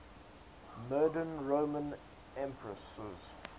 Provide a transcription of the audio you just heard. murdered roman empresses